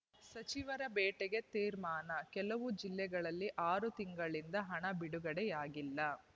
ಸಚಿವರ ಭೇಟೆಗೆ ತೀರ್ಮಾನ ಕೆಲವು ಜಿಲ್ಲೆಗಳಲ್ಲಿ ಆರು ತಿಂಗಳಿನಿಂದ ಹಣ ಬಿಡುಗಡೆಯಾಗಿಲ್ಲ